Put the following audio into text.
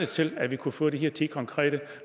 til at vi kunne få de her ti konkrete